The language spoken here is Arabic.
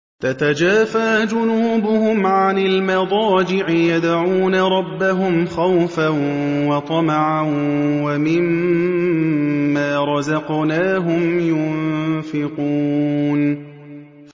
تَتَجَافَىٰ جُنُوبُهُمْ عَنِ الْمَضَاجِعِ يَدْعُونَ رَبَّهُمْ خَوْفًا وَطَمَعًا وَمِمَّا رَزَقْنَاهُمْ يُنفِقُونَ